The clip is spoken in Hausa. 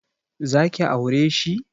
Zaki aure shi?